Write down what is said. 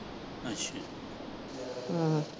ਹਾਂ।